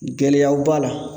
Gɛlɛyaw b'a la